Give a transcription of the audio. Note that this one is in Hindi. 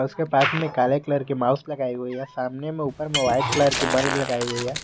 इसके पार्ट में काले कलर के माउस लगाए हुए है सामने में ऊपर में व्हाइट कलर के बल्ब लगाइ हुई है।